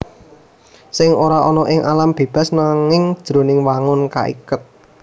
Sèng ora ana ing alam bébas nanging jroning wangun kaiket